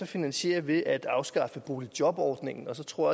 finansiere ved at afskaffe boligjobordningen og så tror